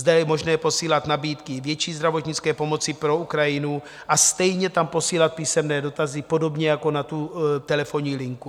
Zde je možné posílat nabídky větší zdravotnické pomoci pro Ukrajinu a stejně tam posílat písemné dotazy, podobně jako na tu telefonní linku.